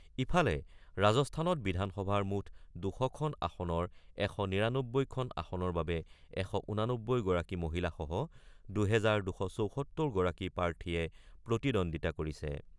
ইফালে, ৰাজস্থানত বিধানসভাৰ মুঠ ২০০খন আসনৰ ১৯৯ খন আসনৰ বাবে ১৮৯গৰাকী মহিলাসহ দুহেজাৰ ২৭৪গৰাকী প্ৰাৰ্থীয়ে প্ৰতিদ্বন্দ্বিতা কৰিছে।